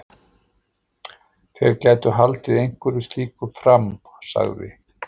Þeir gætu haldið einhverju slíku fram- sagði